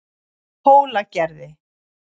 Hólagerði